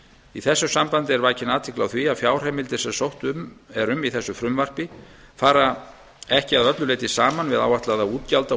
í þessu sambandi er vakin athygli á því að fjárheimildir sem sótt er um í þessu frumvarpi fara ekki að öllu leyti saman við áætlaða